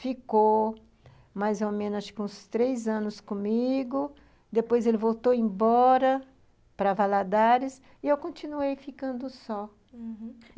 Ficou mais ou menos uns três anos comigo, depois ele voltou embora para Valadares e eu continuei ficando só, uhum.